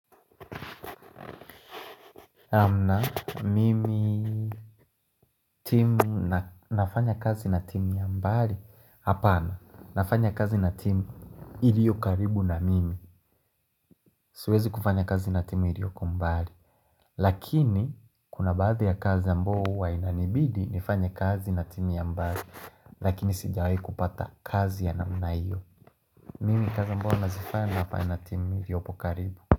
Hamna, mimi timu na nafanya kazi na timu ya mbali Hapana, nafanya kazi na timu iliyokaribu na mimi Siwezi kufanya kazi na timu iliokombali Lakini, kuna baadhi ya kazi ambao huwa inanibidi nifanya kazi na timu ya mbali Lakini, sijawahi kupata kazi ya namna hiyo Mimi, kazi ambao nazifanya nafanya na timu iliopokaribu.